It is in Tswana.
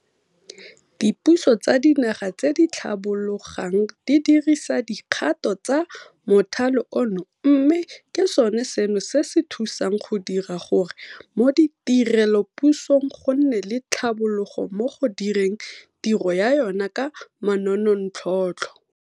Dipuso tsa dinaga tse di tlhabologang di dirisa dikgato tsa mothale ono mme ke sone seno se se thusang go dira gore mo tirelopusong go nne le tlhabologo mo go direng tiro ya yona ka manontlhotlho.